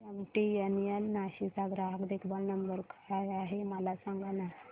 MTNL Nashik चा ग्राहक देखभाल नंबर काय आहे मला सांगाना